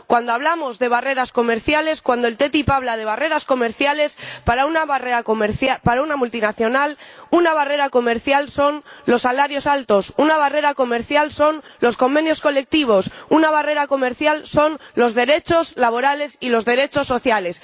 Cuando hablamos de barreras comerciales, cuando la ATCI habla de barreras comerciales para una multinacional una barrera comercial son los salarios altos, una barrera comercial son los convenios colectivos, una barrera comercial son los derechos laborales y los derechos sociales.